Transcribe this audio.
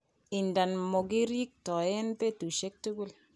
Idadan mokirirtoen betushek tugul.